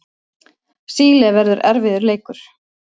Síle verður erfiður leikur.